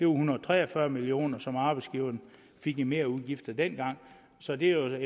hundrede og tre og fyrre millioner som arbejdsgiverne fik i merudgifter dengang så det er jo